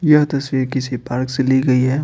यह तस्वीर किसी पार्क से ली गई है।